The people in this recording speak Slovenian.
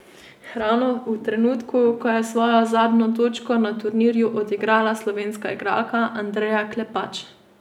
Ravno v trenutku, ko je svojo zadnjo točko na turnirju odigrala slovenska igralka Andreja Klepač.